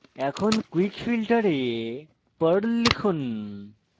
এখন quick filter এ perl লিখুন